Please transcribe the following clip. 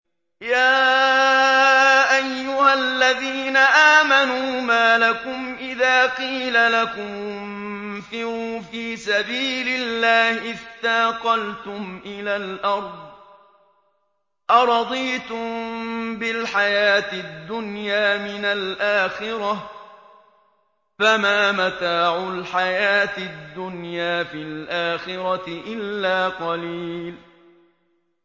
يَا أَيُّهَا الَّذِينَ آمَنُوا مَا لَكُمْ إِذَا قِيلَ لَكُمُ انفِرُوا فِي سَبِيلِ اللَّهِ اثَّاقَلْتُمْ إِلَى الْأَرْضِ ۚ أَرَضِيتُم بِالْحَيَاةِ الدُّنْيَا مِنَ الْآخِرَةِ ۚ فَمَا مَتَاعُ الْحَيَاةِ الدُّنْيَا فِي الْآخِرَةِ إِلَّا قَلِيلٌ